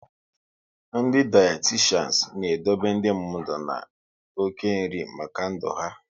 Ndị dayatishan n'edobe ndị mmadụ na oke nri maka ndụ ahụ ikw